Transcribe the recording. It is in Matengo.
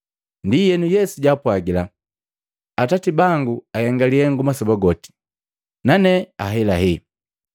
Ndienu Yesu jaapwagila, “Atati bangu ahenga lihengu masoba goti, nane henga ahelahela.”